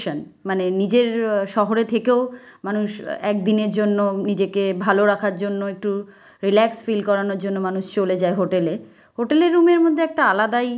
মানে নিজের শহরে থেকেও মানুষ একদিনের জন্য নিজেকে ভালো রাখার জন্য একটু রিল্যাক্স ফিল করানোর জন্য মানুষ চলে যায় হোটেল -এ হোটেল -এর রুম -এর মধ্যে একটা আলাদাই।